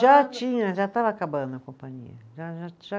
Já tinha, já estava acabando a companhia, já já, já